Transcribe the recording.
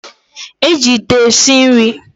E ji Ite esi nri